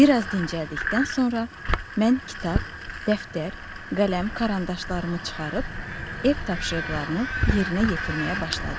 Bir az dincəldikdən sonra mən kitab, dəftər, qələm, karandaşlarımı çıxarıb ev tapşırıqlarını yerinə yetirməyə başladım.